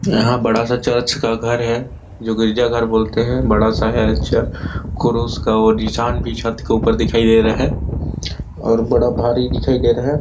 यहाँ बड़ा सा चर्च का घर है जो गिरजाघर बोलते हैं बड़ा सा है अच्छा क्रोसे का निसान भी छत के ऊपर दिखाई दे रहा है और बहुत बड़ा भारी दिखाई दे रहा है।